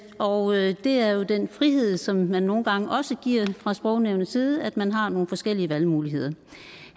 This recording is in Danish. og det er jo den frihed som nogle gange giver fra sprognævnets side nemlig at man har nogle forskellige valgmuligheder